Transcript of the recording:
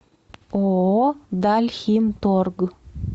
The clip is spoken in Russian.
ооо дальхимторг